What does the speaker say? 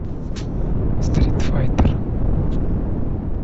стритфайтер